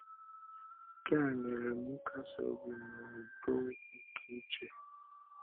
Nke a nyere m nkasi obi na udo nke uche.